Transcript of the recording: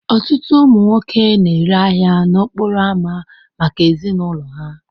Ọtụtụ ụmụ nwoke na-ere ahia n'okporo ámá maka ezinụlọ ha.